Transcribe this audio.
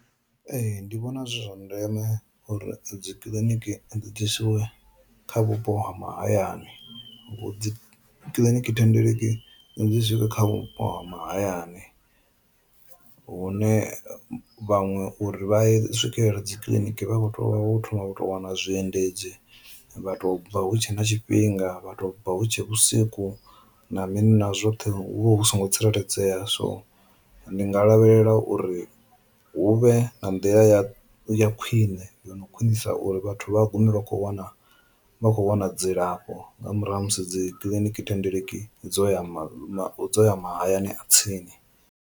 Ee ndi vhona zwi zwa ndeme uri dzi kiḽiniki ende ḓisiwe kha vhupo ha mahayani vhu dzi kiḽiniki thendeleki ndi swika kha vhupo ha mahayani, hune vhaṅwe uri vha swikelela dzi kiliniki vha khou tou vha vho thoma vha tou wana zwiendedzi vha to bva hutshe na tshifhinga, vha to bva hutshe vhusiku, na mini na zwoṱhe hu vha hu songo tsireledzea so ndi nga lavhelela uri hu vhe na nḓila ya ya khwine dzo no khwinisa uri vhathu vha gume lwa kho wana vha khou wana dzilafho nga murahu ha musi dzi kiḽiniki thendeleki dzo ya ya mahayani a tsini.